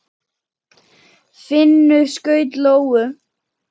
Finnur skaut lóu.